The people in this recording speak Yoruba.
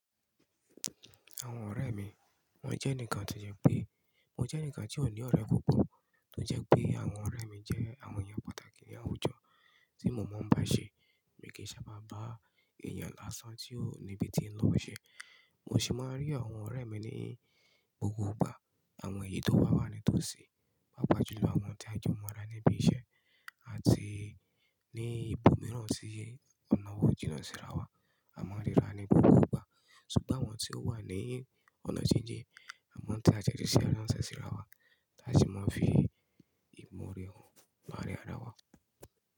Àwọn ọ̀rẹ́ mi, wọ́n jẹ́ eǹikan tó jẹ pé mo jẹ́ eǹikan tí ó ní ọ̀rẹ́ púpọ̀ tó jẹ́ pé àwọn ọ̀rẹ́ mi jẹ́ àwọn èèyàn pàtàkì ní àwùjọ tí mo máa ń bá ṣe, mi kì í sábà bá èèyàn lásán tí ó níbi tí ń lọ ṣe. Mo sì máa ń rí àwọn ọ̀rẹ́ mi ní gbogbo ìgbà, àwọn èyí tó ba wá ni tó ṣe, pàápàá jùlọ àwọn tí a jẹ́ ọmọ ará níbi iṣẹ́ àti ní ibòmíràn tí ọ̀nà wa o jìnnà síra wà. Àmo ríra ni gbogbo ìgbà ṣùgbọ́n àwọn tí ó wà ní ọ̀nà jíjìn amo fi àtẹ̀jíṣẹ́ ránṣẹ́ si ara wa, a si máa fi ìmọ̀ oore han larin ara wa.